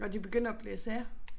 Når de begynder at blæse af